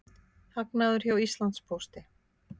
Hagnaður hjá Íslandspósti